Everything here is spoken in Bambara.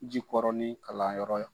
Jikɔrɔni kalanyɔrɔ yan.